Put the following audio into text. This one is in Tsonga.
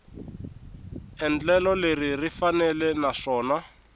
endlelo leri ri faneleke naswona